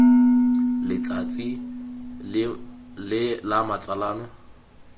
letsatsi la me la matsalo